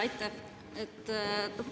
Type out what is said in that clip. Aitäh!